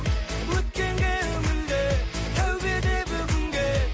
өткенге үңілме тәубе де бүгінге